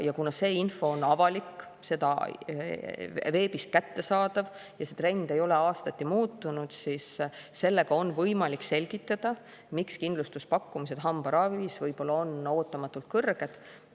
Ja kuna see info on avalik, see on veebis kättesaadav, ja see trend ei ole aastati muutunud, siis sellega on võimalik selgitada, miks kindlustuspakkumised hambaravis võivad olla ootamatult kõrged.